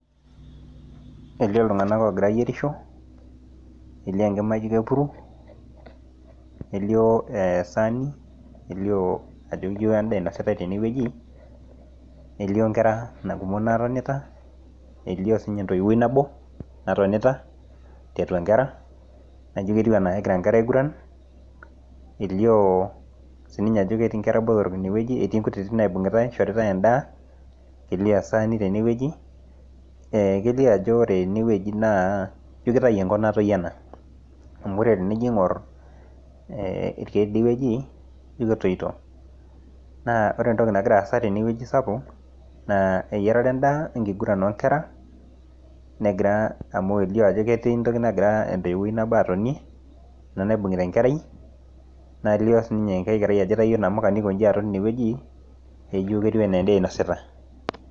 Elio iltung'ana oogira ayierisho, elio enkima naijo epuru, elio essani , elio ajo endaa einositai tenewueji, elio nkera kumok naatonita, elio siininye entoiwuoi nabo natonita tiatua inkera. Naa ketiu anaa kegira inkera aig'urran, elio ajo ketii sininche inkera botorok ine wueji, etii innkutitik naibung'itai, eishoritai endaa, elio esaani tenewueji. Kelio ene wueji anaa ijjo kengop natoiyo ena, amu ore tenijoiye ing'or, teidie wueji, ijo ketoiito. Naa ore entoki nagiraa asa tenewueji sapuk, naa eyierata endaa we enkiguran oo nkera. Negira amu elio entoki nagira entoiwuoi nabo atonie ina naibung'ita enkerai, naa kelio sii ninye enkiti kerai naitayio inamuka newuen aikonji teine wueji, etiu anaa endaa inosita.